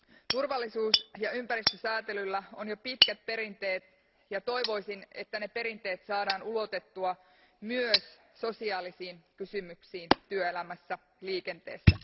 Turvallisuus ja ympäristösäätelyllä on jo pitkät perinteet ja toivoisin, että ne perinteet saadaan ulotettua myös sosiaalisiin kysymyksiin työelämässä ja liikenteessä.